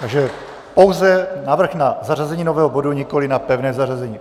Takže pouze návrh na zařazení nového bodu, nikoliv na pevné zařazení.